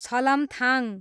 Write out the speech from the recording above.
छलमथाङ